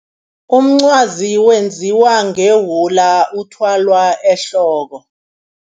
Umncwazi wenziwa ngewula uthwalwa ehloko.